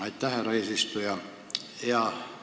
Aitäh, härra eesistuja!